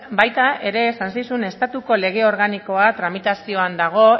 baita ere esan zizun estatuko lege organikoa tramitazioa dago